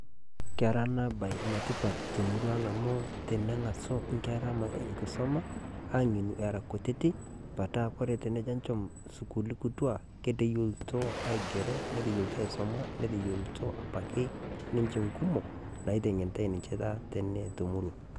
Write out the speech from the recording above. Kera ena baayi netipaat te murrua ang' amu teneng'aso nkeraa enkisoma awuen era nkutiti. Paata kore peejo achoom sukuuli kutua keteyieiluto aigero, neteyielitoo aisoma, neteyielutoo abaki ninchee kumook naiteng'enitai ninchee tata tene te murruak.